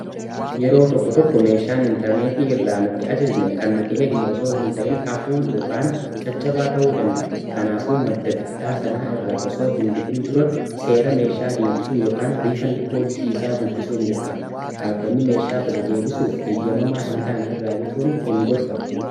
yeroo tokko tokko meeshaan intarneetii irraa nuti ajajne kan nuti eegne osoo hin ta'in hafuuyn caccabaa ta'uu danda'a kanaafuu madda bittaa sanaa irraa osoo hin bitin dura seera meeshaa deebisuu ykn riifandi poolisii isaa dubbisuu hin dirqama dhaabbanni meeshaa bada-deebisuuf heeyyamamaa hin taane irraa bituun hin gorfamu